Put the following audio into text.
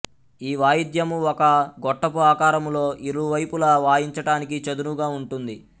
ఈ వాయిద్యము ఒక గొట్టపు ఆకారములో ఇరు వైపుల వాయించటానికి చదునుగా ఉంటుంది